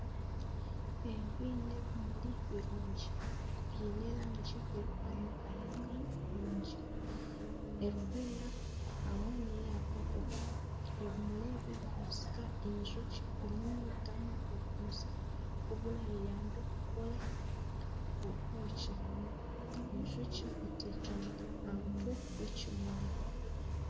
Ebi n'ebimuri birungi biine erangi erikwakayaka nungi erikweera hamwe n'eya paapo ebimuri ebi nibibasika enjoki kunyuyutamu omweyenge oburagihwere kukora obwoki enjoki eteekami aha mutwe gw'ekimuri